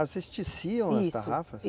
Ah, vocês teciam as tarrafas? Isso, i